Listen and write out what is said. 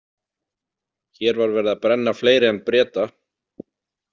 Hér var verið að brenna fleiri en Breta.